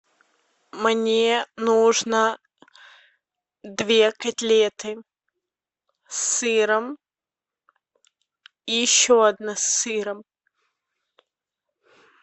мне нужно две котлеты с сыром и еще одна с сыром